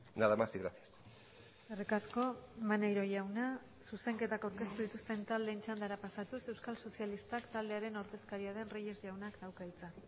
nada más y gracias eskerrik asko maneiro jauna zuzenketak aurkeztu dituzten taldeen txandara pasatuz euskal sozialistak taldearen ordezkaria den reyes jaunak dauka hitza